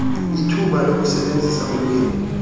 ithuba lokusebenzisa ulwimi